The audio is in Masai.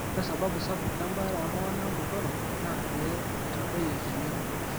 or sababu sapuk embaare ooltung'anak botorok naa pee eitadoyio emion.